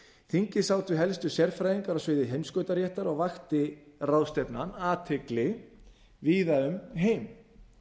þingið sátu helstu sérfræðingar á sviði heimskautaréttar og vakti ráðstefnan athygli víða um heim